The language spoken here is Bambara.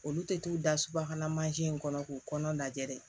Olu tɛ t'u da subahana mansin in kɔnɔ k'u kɔnɔ lajɛ dɛ